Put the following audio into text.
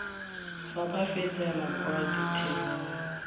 fa ba fetela kwa ditheong